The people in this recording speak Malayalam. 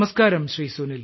നമസ്ക്കാരം ശ്രീ